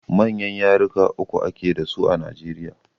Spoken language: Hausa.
Manyan yaruka uku a ke dasu a Najeriya.